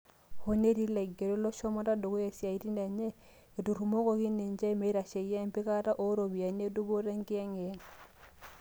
hoo netii ilagerok loshomoto dukuya osiatin enye, eturomokoki ninje meitasheyia empikata ooropiyiani e dupoto enkiyengiyeng.